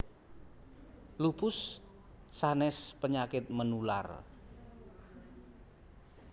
Lupus sanes penyakit menular